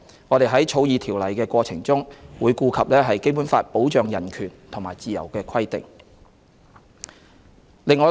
我們在草擬《條例草案》的過程中，會顧及《基本法》保障人權和自由的規定。